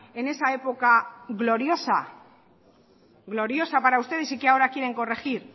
en esa época gloriosa gloriosa para ustedes y que ahora quieren corregir